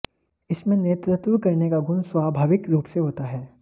इनमें नेतृत्व करने का गुण स्वाभाविक रूप से होता है